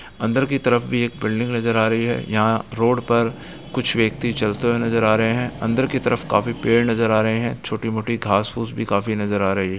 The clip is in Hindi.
अंदर की तरफ भी एक बिल्डिंग नजर आ रही है यहां रोड पर कुछ व्यक्ति चलते हुए नजर आ रहे हैं अंदर की तरफ काफी पेड़ नजर आ रहे हैं छोटी मोटी घास फूस भी काफी नजर आ रही है |